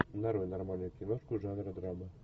нарой нормальную киношку жанра драма